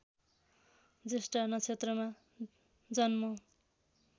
ज्येष्ठा नक्षत्रमा जन्म